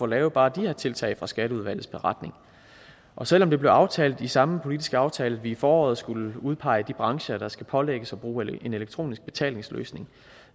lave bare de her tiltag fra skatteudvalgets beretning og selv om det blev aftalt i samme politiske aftale at vi i foråret skulle udpege de brancher der skal pålægges at bruge en elektronisk betalingsløsning